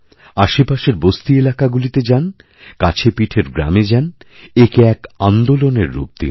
আশেপাশের বস্তিএলাকাগুলিতে যান কাছেপিঠের গ্রামে যান একে এক আন্দোলনের রূপ দিন